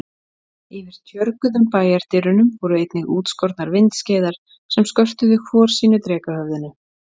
Yfir tjörguðum bæjardyrunum voru einnig útskornar vindskeiðar sem skörtuðu hvor sínu drekahöfðinu.